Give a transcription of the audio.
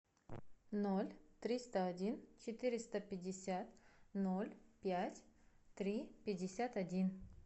ноль триста один четыреста пятьдесят ноль пять три пятьдесят один